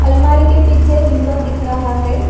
अलमारी के पीछे विंडो दिख रहा है।